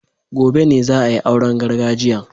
Gobe ne za a yi auren gargajiyan